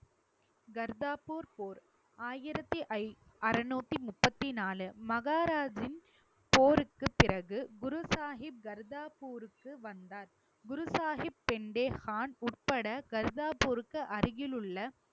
கர்தார்பூர் போர் ஆயிரத்தி ஐ~ அறுநூத்தி முப்பது நாலு மகாராஜின் போருக்குப் பிறகு குரு சாஹிப் கர்தார்பூர்க்கு வந்தார் குரு சாஹிப், பெண்டே கான் உட்பட கர்தாபூர்க்கு அருகிலுள்ள